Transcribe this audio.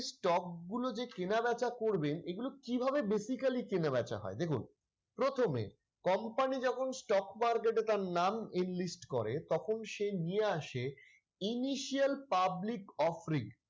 stock গুলো যে কেনাবেচা করবেন এগুলো কিভাবে basically কেনাবেচা হয় দেখুন প্রথমে company যখন stock market এ তার নাম enlist করে তখন সে নিয়ে আসে Initial Public Offering